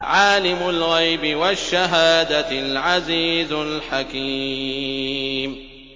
عَالِمُ الْغَيْبِ وَالشَّهَادَةِ الْعَزِيزُ الْحَكِيمُ